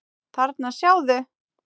Þarna, sjáðu